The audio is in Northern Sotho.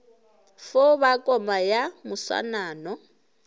fo ba koma ya moswanano